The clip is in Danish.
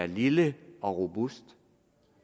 lille og robust